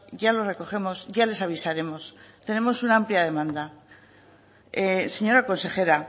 ya lo recogemos ya les avisaremos tenemos una amplia demanda señora consejera